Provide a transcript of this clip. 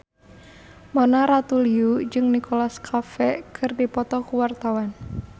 Mona Ratuliu jeung Nicholas Cafe keur dipoto ku wartawan